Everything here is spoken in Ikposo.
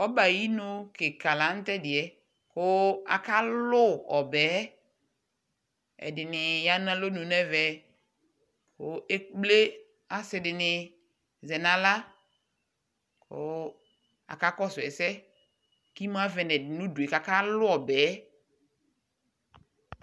Ɔbɛ ayi nu kika di la nu tɛdiɛl ku akalu ɛdini yanu alɔnu nɛɛvɛ ku ekple asidini zɛnaɣla ku akakɔsu ɛsɛ imuavɛ nu ɛdi nu udue